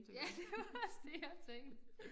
Ja det var også det jeg tænkte